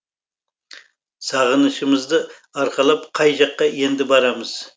сағынышымызды арқалап қай жаққа енді барамыз